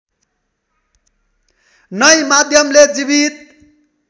नै माध्यमले जीवित